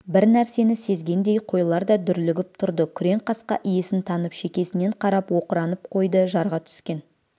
бір нәрсені сезгендей қойлар да дүрлігіп тұрды күреңқасқа иесін танып шекесінен қарап оқыранып қойды жарға түскен